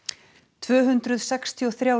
tvö hundruð sextíu og þrjár